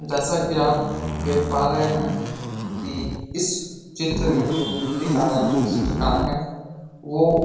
जैसा कि आप देख पा रहे हैं कि इस चित्र में जो मूर्तिकार हैं जो चित्रकार हैं वो --